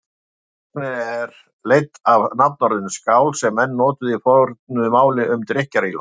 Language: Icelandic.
Sögnin er leidd af nafnorðinu skál sem menn notuðu í fornu máli um drykkjarílát.